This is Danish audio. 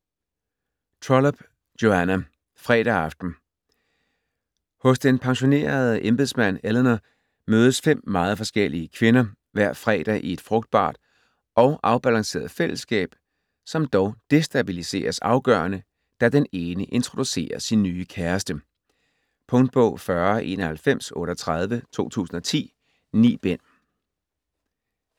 Trollope, Joanna: Fredag aften Hos den pensionerede embedsmand Eleanor mødes fem meget forskellige kvinder hver fredag i et frugtbart og afbalanceret fællesskab, som dog destabiliseres afgørende, da den ene introducerer sin nye kæreste. Punktbog 409138 2010. 9 bind.